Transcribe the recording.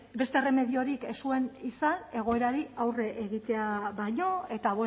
ba bueno beste erremediorik ez zuen izan egoerari aurre egitea baino eta